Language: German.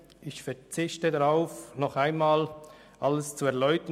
Ich verzichte darauf, alles nochmals zu erläutern.